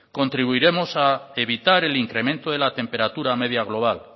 contribuiremos a evitar el incremento de la temperatura media global